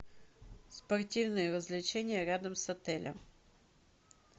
спортивные развлечения рядом с отелем